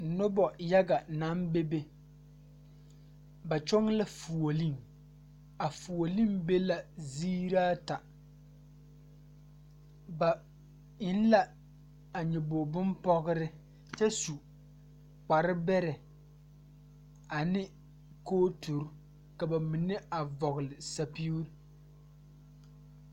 Nobɔ yaga naŋ bebe ba kyɔŋ la foolee a foolee be la zeeraata ba eŋ la a nyoboge bonpɔgre nyɛ su kpare bɛrɛ ane kooturre ka ba mine a vɔgle sɛpige.